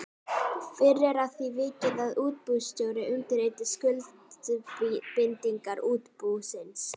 Fyrr er að því vikið að útibússtjóri undirriti skuldbindingar útibúsins.